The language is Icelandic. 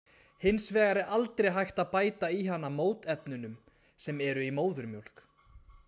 Hins vegar er aldrei hægt að bæta í hana mótefnunum sem eru í móðurmjólk.